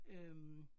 Øh